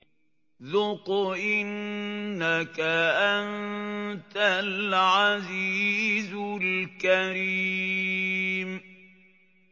ذُقْ إِنَّكَ أَنتَ الْعَزِيزُ الْكَرِيمُ